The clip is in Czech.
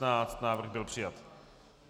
Návrh byl přijat.